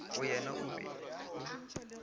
go yena o be o